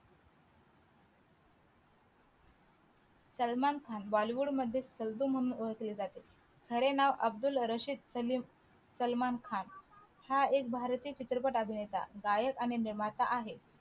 सलमान खान हा bollywood मध्ये सल्लू म्हणून ओळखले जाते खरे नाव अब्द्दुल रशीद सलीम सलमान खान हा एक भारतीय चित्रपट अभिनेता गायक आणि निर्माता आहे